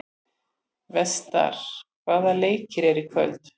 Vestar, hvaða leikir eru í kvöld?